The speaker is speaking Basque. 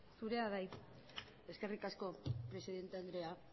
zurea da hitza eskerrik asko presidente andrea